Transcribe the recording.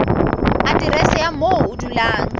aterese ya moo o dulang